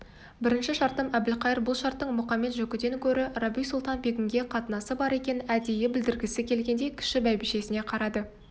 бірінші шартым әбілқайыр бұл шарттың мұқамет-жөкіден гөрі рабиу-сұлтан-бегімге қатынасы бар екенін әдейі білдіргісі келгендей кіші бәйбішесіне қарады